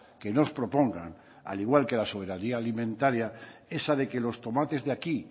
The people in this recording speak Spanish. que nos propongan al igual que la soberanía alimentaria esa de que los tomates de aquí